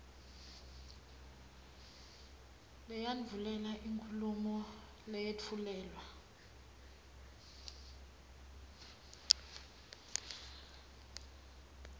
leyandvulela inkhulumo leyetfulelwa